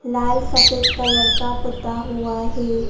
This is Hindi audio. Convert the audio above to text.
लाल सफेद कलर का पुता हुआ है।